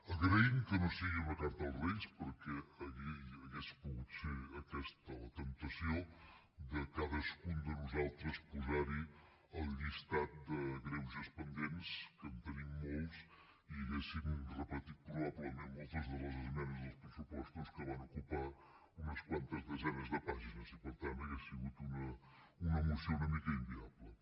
agraïm que no sigui una carta als reis perquè hauria pogut ser aquesta la temptació que cadascun de nosaltres hi hagués posat el llistat de greuges pendents que en tenim molts i hauríem repetit probablement moltes de les esmenes dels pressupostos que van ocupar unes quantes desenes de pàgines i per tant hauria sigut una moció una mica inviable